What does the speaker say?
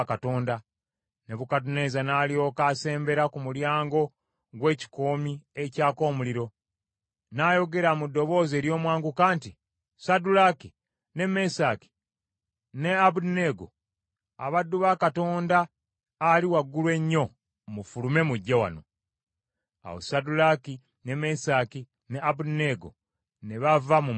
Nebukadduneeza n’alyoka asembera ku mulyango gw’ekikoomi ekyaka omuliro, n’ayogera mu ddoboozi ery’omwanguka nti, “Saddulaaki, ne Mesaki, ne Abeduneego, abaddu ba Katonda Ali Waggulu Ennyo, mufulume mujje wano.” Awo Saddulaaki, ne Mesaki ne Abeduneego ne bava mu muliro.